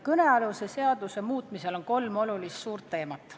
Kõnealuse seaduse muutmisel on esil kolm olulist teemat.